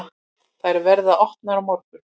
Þær verða opnar á morgun.